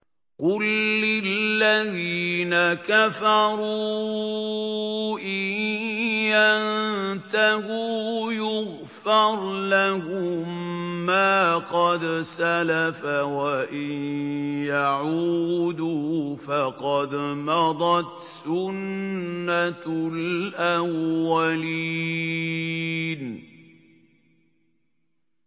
قُل لِّلَّذِينَ كَفَرُوا إِن يَنتَهُوا يُغْفَرْ لَهُم مَّا قَدْ سَلَفَ وَإِن يَعُودُوا فَقَدْ مَضَتْ سُنَّتُ الْأَوَّلِينَ